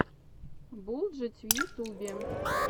булджать в ютубе